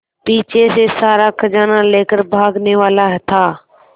पीछे से सारा खजाना लेकर भागने वाला था